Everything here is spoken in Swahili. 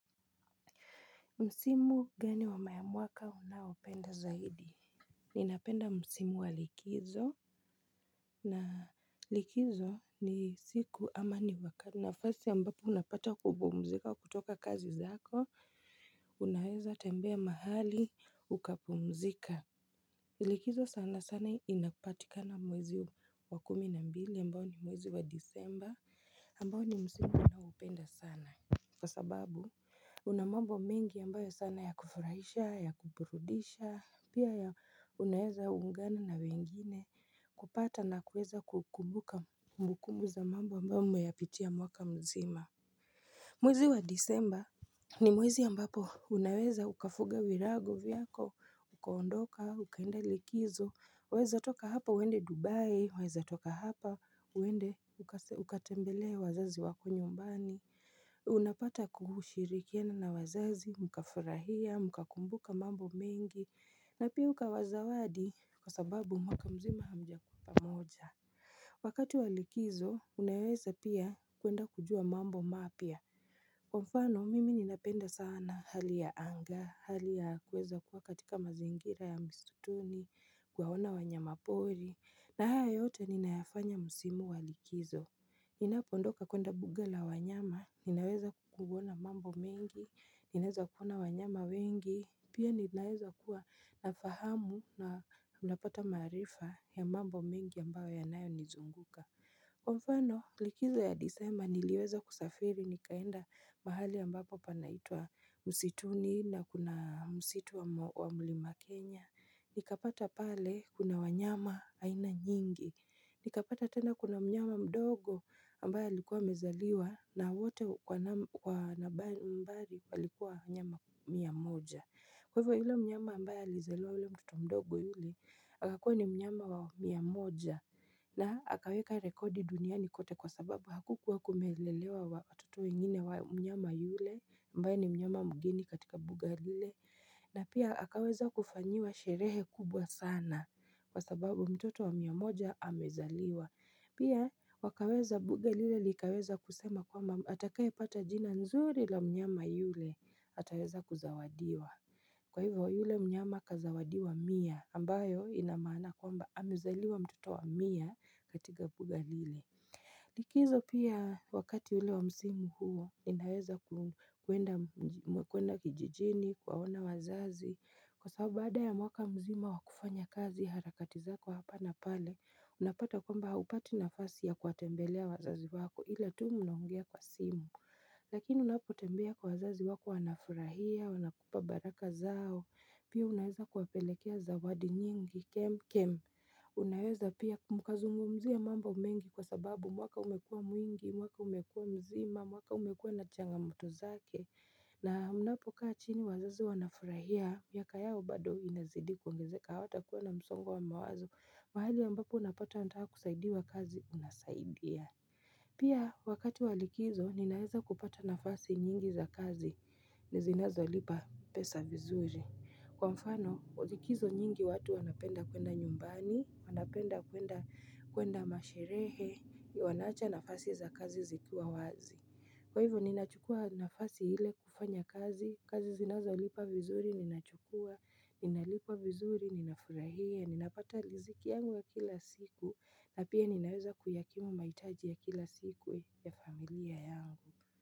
Msimu gani wa mwaka unayoupenda zaidi Ninapenda msimu wa likizo na likizo ni siku ama ni wakati nafasi ambapo unapata kupumzika kutoka kazi zako Unaweza tembea mahali ukapumzika Likizo sana sana inapatikana mwezi wa kumi na mbili ambao ni mwezi wa disemba ambao ni msimu ninayopenda sana Kwa sababu, una mambo mengi ambayo sana ya kufurahisha, ya kuburudisha, pia ya unaweza ungana na wengine kupata na kuweza kukumbuka kumbukumu za mambo ambayo mmeyapitia mwaka mzima Mwezi wa disemba ni mwezi ambapo unaweza ukafuga virago vyako, ukaondoka, ukaenda likizo, waweza toka hapa uende Dubai, waweza toka hapa, uende ukatembelee wazazi wako nyumbani Unapata kushirikiana na wazazi, mkafurahia, mkakumbuka mambo mengi na pia ukawa zawadi kwa sababu mwaka mzima hamjakua pamoja Wakati wa likizo, unaweza pia kuenda kujua mambo mapya Kwa mfano, mimi ninapenda sana hali ya anga, hali ya kuweza kuwa katika mazingira ya misituni Kuwaona wanyama pori, na haya yote ninayafanya msimu wa likizo Ninapoondoka kuenda mbuga la wanyama, ninaweza kuona mambo mengi, ninaweza kuona wanyama wengi, pia ninaweza kuwa na fahamu na unapata maarifa ya mambo mengi ambayo yanayonizunguka. Kwa mfano likizo ya disemba niliweza kusafiri nikaenda mahali ambapo panaitwa msituni na kuna msitu wa mlima Kenya nikapata pale kuna wanyama aina nyingi nikapata tena kuna mnyama mdogo ambaye alikuwa amezaliwa na wote kwa nambari walikuwa wanyama mia moja Kw\a hivo ile mnyama ambaye alizaliwa ile mtoto mdogo yule Akakua ni mnyama wa mia moja na akaweka rekodi duniani kote kwa sababu hakukuwa kumelelewa watoto wengine wa mnyama yule ambaye ni mnyama mgeni katika mbuga lile na pia akaweza kufanyiwa sherehe kubwa sana kwa sababu mtoto wa mia moja amezaliwa Pia wakaweza mbuga lile likaweza kusema kwamba atakaye pata jina nzuri la mnyama yule ataweza kuzawadiwa Kwa hivyo yule mnyama akazawadi wa mia ambayo ina maana kwamba amezaliwa mtoto wa mia katika mbuga lile likizo pia wakati yule wa msimu huo ninaweza kuenda kijijini, kuwaona wazazi Kwa sababu baada ya mwaka mzima wa kufanya kazi harakati zako hapa na pale Unapata kwamba hupati nafasi ya kuwatembelea wazazi wako ila tu mnaongea kwa simu Lakini unapotembea kwa wazazi wako wanafurahia, wanakupa baraka zao Pia unaeza kuwapelekea zawadi nyingi, kem kem Unaeza pia mkazungumzia mambo mengi kwa sababu mwaka umekua mwingi, mwaka umekua mzima, mwaka umekua na changamoto zake na unapokaa chini wazazi wanafurahia, miaka yao bado inazidi kuongezeka hawatakuwa na msongo wa mawazo, mahali ambapo unapata anataka kusaidiwa kazi unasaidia Pia wakati wa likizo, ninaweza kupata nafasi nyingi za kazi, ni zinazo lipa pesa vizuri. Kwa mfano, likizo nyingi watu wanapenda kuenda nyumbani, wanapenda kuenda masherehe, wanaacha nafasi za kazi zikiwa wazi. Kwa hivyo ninachukua nafasi ile kufanya kazi, kazi zinaweza lipa vizuri, ninachukua, ninalipwa vizuri, ninafurahia, ninapata riziki yangu ya kila siku, na pia ninaweza kuyakimu mahitaji ya kila siku ya familia yangu.